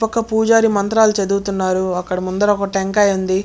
ఒక పూజారి మంత్రాలు చదువుతున్నాడు అక్కడ ముందర ఒక టెంకాయ ఉంది.